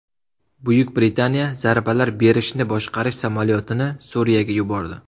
Buyuk Britaniya zarbalar berishni boshqarish samolyotini Suriyaga yubordi.